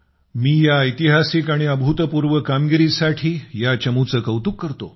मी या ऐतिहासिक आणि अभूतपूर्व कामगिरीसाठी या चमूचे कौतुक करतो